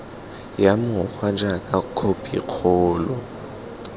ya mokgwa jaaka khophi kgolo